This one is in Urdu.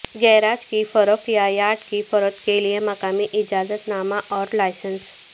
گیراج کی فروخت یا یارڈ کی فروخت کے لئے مقامی اجازت نامہ اور لائسنس